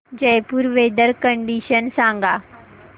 Jaipur weather condition सांगा